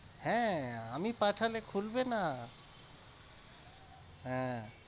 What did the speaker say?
হ্যাঁ আমি পাঠালে খুলবে না হ্যাঁ